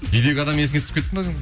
үйдегі адам есіңе түсіп кетті ме